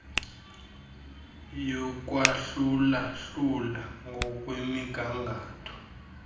yokwahlula hlula ngokwemigangatho